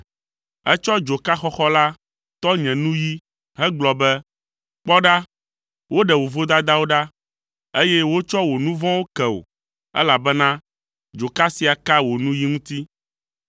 Etsɔ dzoka xɔxɔ la tɔ nye nuyi hegblɔ be, “Kpɔ ɖa, woɖe wò vodadawo ɖa, eye wotsɔ wò nu vɔ̃wo ke wò, elabena dzoka sia ka wò nuyi ŋuti.”